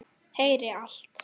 Heyri allt.